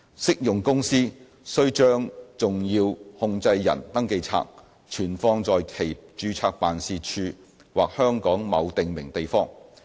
適用公司須將"重要控制人登記冊"存放在其註冊辦事處或香港某訂明地方。